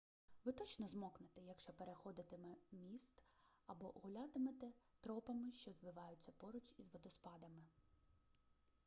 ви точно змокнете якщо переходитимете міст або гулятимете тропами що звиваються поруч із водоспадами